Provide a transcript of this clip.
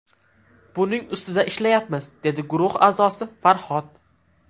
Buning ustida ishlayapmiz”, dedi guruh a’zosi Farhod.